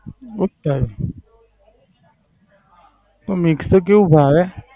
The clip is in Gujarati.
એવું જ થાય છે. તો Mixed તો કેવું ભાવે?